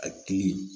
A kili